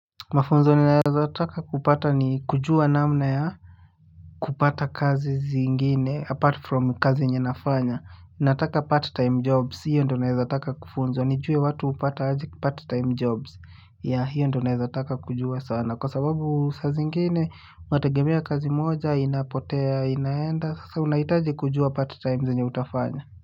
Mafunzo ninaweza taka kupata ni kujua namna ya kupata kazi zingine apart from kazi yenye nafanya nataka part time jobs hiyo ndio naweza taka kufunzwa nijue watu hupata aje part time jobs ya hiyo ndio naweza taka kujua sana. Kwa sababu saa zingine unategemea kazi moja inapotea inaenda. Sasa unahitaji kujua part time zenye utafanya.